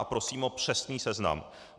A prosím o přesný seznam.